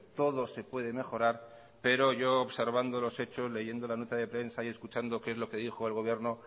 todo se puede mejorar pero yo observando los hechos leyendo la nota de prensa y escuchando qué es lo que dijo el gobierno